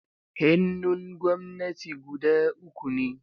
Hannun gwamnati guda uku ne.